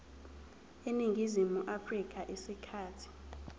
eningizimu afrika isikhathi